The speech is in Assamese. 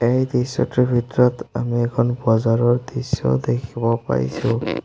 এই দৃশ্যটোৰ ভিতৰত আমি এখন বজাৰৰ দৃশ্য দেখিব পাইছোঁ।